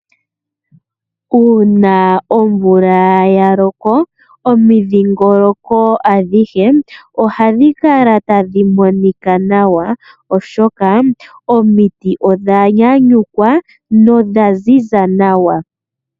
Uuna omvula ya loko. Omidhiingoloko adhihe ohadhi kala tadhi monika nawa. Oshoka omiti odha nyanyukwa nodha ziza nawa.